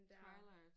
Twilight